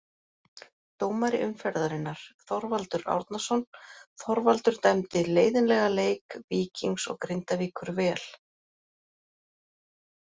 Dómari umferðarinnar: Þorvaldur Árnason Þorvaldur dæmdi leiðinlega leik Víkings og Grindavíkur vel.